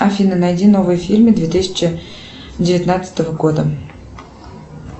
афина найди новые фильмы две тысячи девятнадцатого года